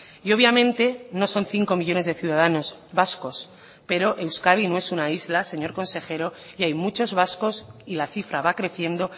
y obviamente no son cinco millónes de ciudadanos vascos pero euskadi no es una isla señor consejero y hay muchos vascos y la cifra va creciendo